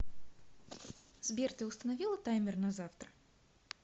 сбер ты установила таймер на завтра